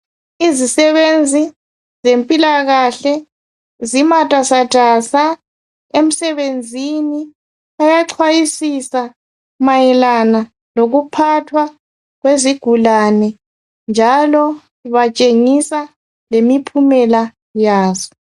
Izisebenzi zempilakahle zimatasatasa emsebenzini. Baya cwayisisa mayelana lokuphathwa kwezigulane njalo batshengisa lemiphumela yazo.